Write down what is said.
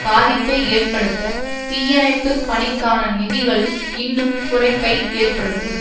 பாதிப்பை ஏற்படுத்த தீயணைப்பு பணிக்கான நிதிகளில் இன்னும் குறைப்பை ஏற்படுத்தும்